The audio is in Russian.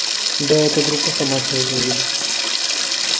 да эту группу сама сегодня увидишь